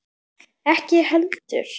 Ekki ég heldur!